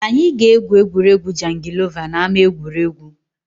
Anyị ga-egwu egwuregwu jangilova n’ama egwuregwu